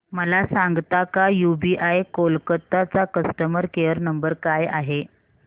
मला सांगता का यूबीआय कोलकता चा कस्टमर केयर नंबर काय आहे